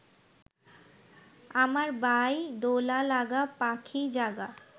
আমার বাই; দোলা-লাগা, পাখী-জাগা